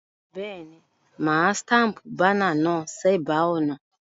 Béèni, mà á staple banner náà sébàá ònà